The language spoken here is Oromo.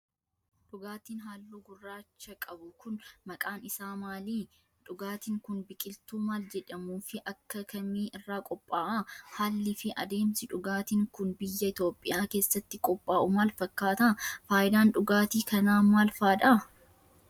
Dhugaatin haalluu gurraacha qabu kun, maqaan isaa maali? Dhugaatin kun, biqiltuu maal jedhamuu fi akka kamii irraa qopha'a? Haalli fi adeemsi dhugaatin kun, biyya Itoophiyaa keessatti qophaa'u maal fakkaata? Faayidaan dhugaatii kanaa maal faa dha?